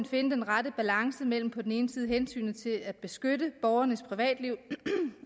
finde den rette balance mellem på den ene side hensynet til at beskytte borgernes privatliv